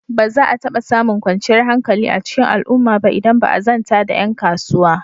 Ba za a taɓa samun kwanciyar hankali a cikin al'umma ba idan ba a zanta da ƴan kasuwa.